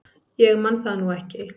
Ég man það nú ekki.